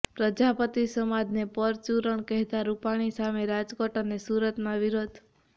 પ્રજાપતિ સમાજને પરચુરણ કહેતા રૂપાણી સામે રાજકોટ અને સુરતમાં વિરોધ